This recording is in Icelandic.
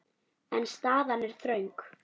En staðan er þröng.